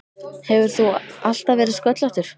Hefur þú alltaf verið sköllóttur?